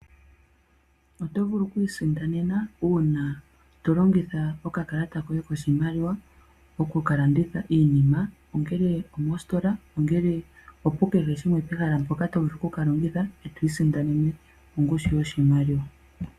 Oto vulu okwii sindanena, uuna tolongitha oka kalata koye koshimaliwa oku ka landitha iinima, ongele omositola, ongele opu kehe shimwe , pehala mpoka to vulu oku ka longitha, eto isindanene ongushu yoshimaliwa .